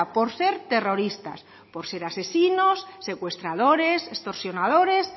por ser terroristas por ser asesinos secuestradores extorsionadores